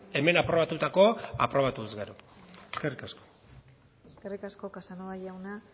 hemen aprobatutakoa aprobatu ezkero eskerrik asko eskerrik asko casanova jauna